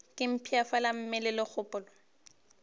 ke mpshafala mmeleng le kgopolong